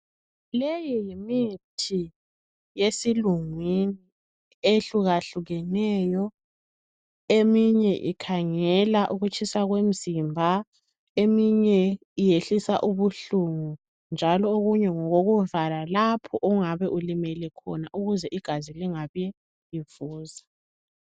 Leyi yimithi yesilungwini eyehluka hlukeneyo eminye ikhangela ukutshisa komzimba, eminye iyehlisa ubuhlungu, njalo okunye ngokokuvala lapho ongabe ulimele khona ukuze igazi lingabi livuza.